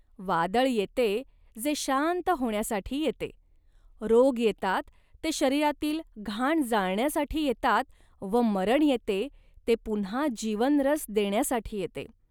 वादळ येते, जे शांत होण्यासाठी येते. रोग येतात, ते शरीरातील घाण जाळण्यासाठी येतात व मरण येते, ते पुन्हा जीवनरस देण्यासाठी येते